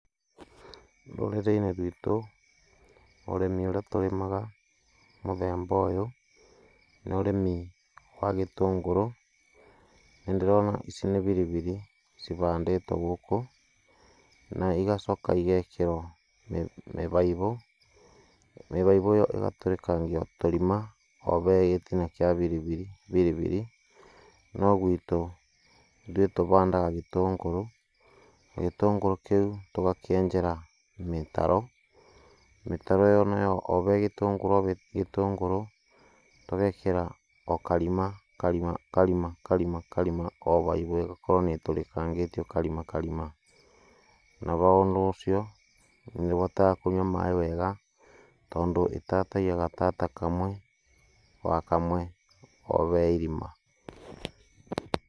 No transcription was provided for accepted audio